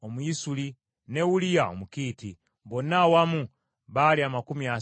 ne Uliya Omukiiti. Bonna awamu baali amakumi asatu mu musanvu.